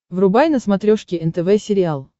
врубай на смотрешке нтв сериал